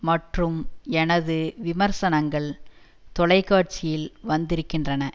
மற்றும் எனது விமர்சனங்கள் தொலைக்காட்சியில் வந்திருக்கின்றன